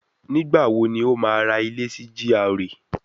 Nígbà wo ni ó máa ra ilé sí GRA